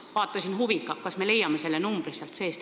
Vaatasin huviga, kas me leiame selle numbri sealt seest.